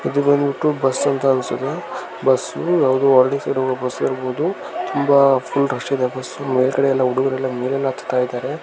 ಇದು ಬಂದ್ಬಿಟ್ಟು ಬಸ್ ಅಂತ ಅನ್ಸುತ್ತೆ ಬಸ್ಸು ಯಾವದೋ ಹಳ್ಳಿ ಸೈಡ್ಹೋ ಗೋ ಬಸ್ ಇರ್ಬೋದು ತುಂಬಾ ಫುಲ್ ರಶ್ ಇದೆ ಬಸ್ಸು ಮೇಲ್ಗಡೆಯೆಲ್ಲ ಹುಡುಗುರೆಲ್ಲ ಮೇಲೆಲ್ಲಾ ಹತ್ತಾಯಿದರೆ .